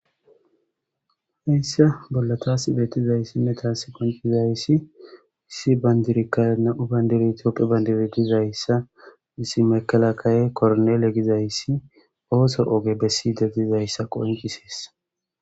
heyssa bolla taasi beetizayssinne taassi qoncizayssi issi bandirikka na7u bayndiri toppe bandiritizayssa dizaysa issi mekalakaye kornele gizayssi ooso oge bessidegdizayssa qoncisesi